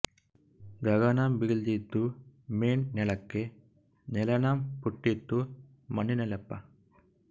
ಗಗನಂ ಬಿಳ್ದಿದೊ ಮೇಣ್ ನೆಲಕ್ಕೆ ನೆಲನೇಂ ಪುಟ್ಟಿತ್ತೊ ಮೇಣಿಲ್ಲಿ ಪ